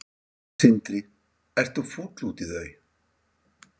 Sindri: Ert þú fúll út í þau?